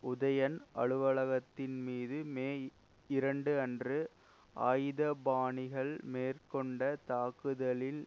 உதயன் அலுவலகத்தின்மீது மே இரண்டு அன்று ஆயுதபாணிகள் மேற்கொண்ட தாக்குதலில்